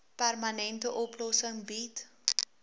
permanente oplossing bied